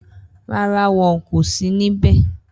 Rara wọn ko si nibẹ.